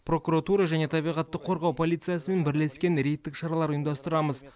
прокуратура және табиғатты қорғау полициясымен бірлескен рейдтік шаралар ұйымдастырамыз